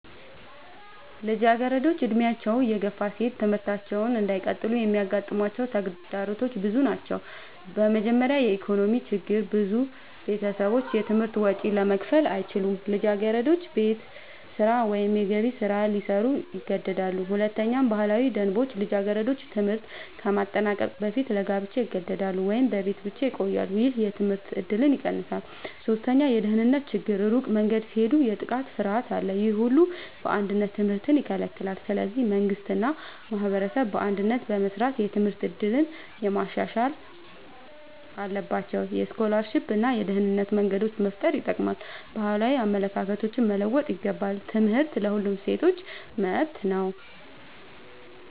ልጃገረዶች ዕድሜያቸው እየገፋ ሲሄድ ትምህርታቸውን እንዳይቀጥሉ የሚያጋጥሟቸው ተግዳሮቶች ብዙ ናቸው። በመጀመሪያ የኢኮኖሚ ችግር ብዙ ቤተሰቦች የትምህርት ወጪ ለመክፈል አይችሉም። ልጃገረዶች ቤት ስራ ወይም የገቢ ስራ ሊሰሩ ይገደዳሉ። ሁለተኛ ባህላዊ ደንቦች ልጃገረዶች ትምህርት ከማጠናቀቅ በፊት ለጋብቻ ይገደዳሉ ወይም በቤት ብቻ ይቆያሉ። ይህ የትምህርት እድልን ይቀንሳል። ሶስተኛ የደህንነት ችግር ሩቅ መንገድ ሲሄዱ የጥቃት ፍርሃት አለ። ይህ ሁሉ በአንድነት ትምህርትን ይከለክላል። ስለዚህ መንግሥት እና ማህበረሰብ በአንድነት በመስራት የትምህርት እድል ማሻሻል አለባቸው። የስኮላርሺፕ እና የደህንነት መንገዶች መፍጠር ይጠቅማል። ባህላዊ አመለካከቶች መለወጥ ይገባል። ትምህርት ለሁሉም ሴቶች መብት ነው።